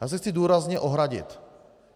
Já se chci důrazně ohradit.